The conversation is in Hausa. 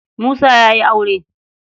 Musa ya yi aure.